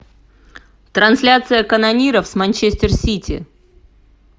трансляция канониров с манчестер сити